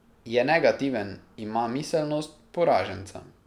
Je negativen, ima miselnost poraženca.